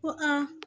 Ko